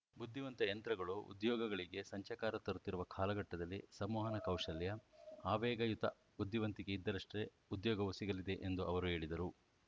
ಬುದ್ಧಿವಂತ ಯಂತ್ರಗಳು ಉದ್ಯೋಗಗಳಿಗೆ ಸಂಚಕಾರ ತರುತ್ತಿರುವ ಕಾಲಘಟ್ಟದಲ್ಲಿ ಸಂವಹನ ಕೌಶಲ್ಯ ಆವೇಗಯುತ ಬುದ್ಧಿವಂತಿಕೆ ಇದ್ದರಷ್ಟೇ ಉದ್ಯೋಗವೂ ಸಿಗಲಿದೆ ಎಂದು ಅವರು ಹೇಳಿದರು